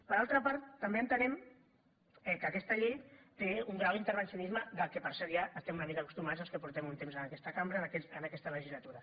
per altra part també entenem que aquesta llei té un grau d’intervencionisme del qual per cert ja estem una mica acostumats els que portem un temps en aquesta cambra en aquesta legislatura